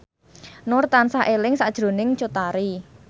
Nur tansah eling sakjroning Cut Tari